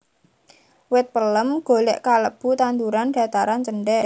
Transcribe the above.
Wit pelem golèk kalebu tanduran dhataran cendhèk